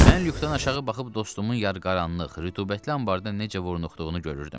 Mən lükdan aşağı baxıb dostumun yarqaranlıq, rütubətli anbarda necə vurnuxduğunu görürdüm.